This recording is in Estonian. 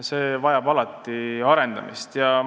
See vajab alati arendamist.